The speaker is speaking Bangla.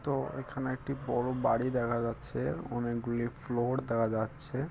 তো এখানে একটি বড় বাড়ি দেখা যাচ্ছে। অনেকগুলি ফ্লোর দেখা যাচ্ছে।